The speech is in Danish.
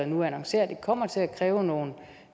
nu annoncere at det kommer til at kræve nogle